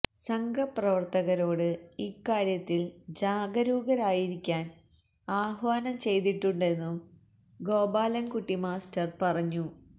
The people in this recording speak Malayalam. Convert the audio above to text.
സംഘ പ്രവര്ത്തകരോട് ഇക്കാര്യത്തില് ജാഗരൂകരായിരിക്കാന് ആഹ്വാനം ചെയ്തിട്ടുണ്ടെന്നും ഗോപാലന്കുട്ടി മാസ്റ്റര് പറഞ്ഞു